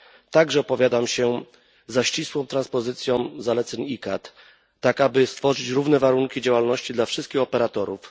Także opowiadam się za ścisłą transpozycją zaleceń ICCAT, tak aby stworzyć równe warunki działalności dla wszystkich operatorów.